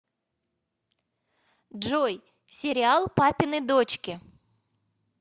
джой сериал папины дочки